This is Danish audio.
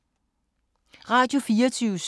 Radio24syv